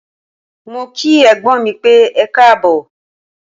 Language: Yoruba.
Mó kí ẹ̀gbọ́n mí pẹ́, ẹkáàbọ̀.